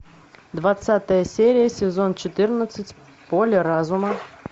двадцатая серия сезон четырнадцать поле разума